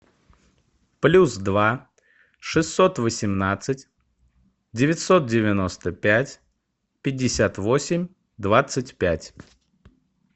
плюс два шестьсот восемнадцать девятьсот девяносто пять пятьдесят восемь двадцать пять